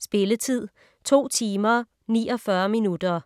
Spilletid: 2 timer, 49 minutter.